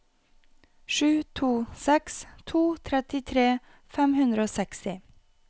sju to seks to trettitre fem hundre og seksti